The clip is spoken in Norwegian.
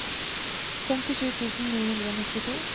femtisju tusen ni hundre og nittito